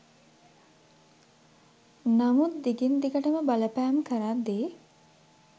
නමුත් දිගින් දිගටම බලපෑම් කරද්දී